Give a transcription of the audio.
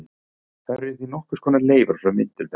Þær eru því nokkurs konar leifar frá myndun þess.